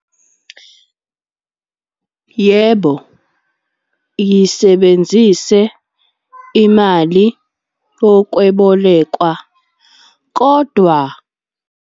Yebo, yisebenzise imali yokwebolekwa, kodwa.